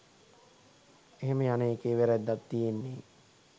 එහෙම යන එකේ වැරැද්දක් තියෙන්නේ